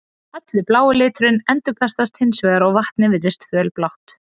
Allur blái liturinn endurkastast hins vegar og vatnið virðist fölblátt.